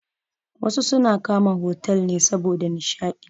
Wasu suna kama otal ne saboda nishaɗi.